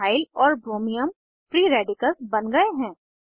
methyl और ब्रोमियम free radicals बन गए हैं